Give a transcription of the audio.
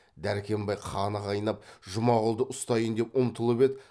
дәркембай қаны қайнап жұмағұлды ұстайын деп ұмтылып еді